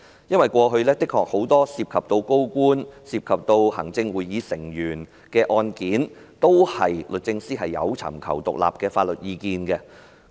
因為過去律政司都的確有就多宗涉及高官、行政會議成員的案件，尋求獨立的法律意見。